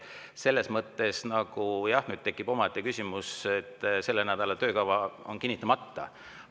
Selles mõttes tekib küsimus, et selle nädala töökava on kinnitamata.